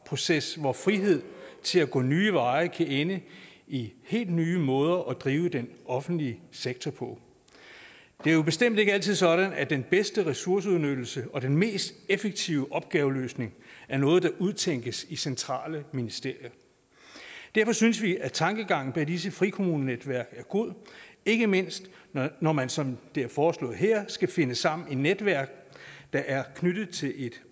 proces hvor frihed til at gå nye veje kan ende i helt nye måder at drive den offentlige sektor på det er bestemt ikke altid sådan at den bedste ressourceudnyttelse og den mest effektive opgaveløsning er noget der udtænkes i centrale ministerier derfor synes vi at tankegangen bag disse frikommunenetværk er god ikke mindst når man som det er foreslået her skal finde sammen i netværk der er knyttet til et